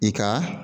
I ka